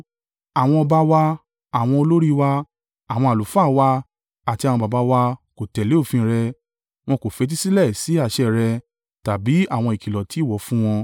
Àwọn ọba wa, àwọn olórí wa, àwọn àlùfáà wa, àti àwọn baba wa kò tẹ̀lé òfin rẹ; wọn kò fetísílẹ̀ sí àṣẹ rẹ tàbí àwọn ìkìlọ̀ tí ìwọ fún wọn.